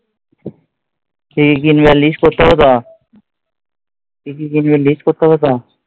কি কি কিনবে list করতে হবেতো? কি কি কিনবে list করতে হবেতো?